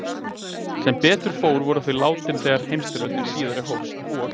Sem betur fór voru þau látin þegar heimsstyrjöldin síðari hófst og